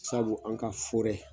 Sabu an ka